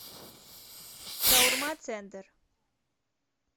шаурма центр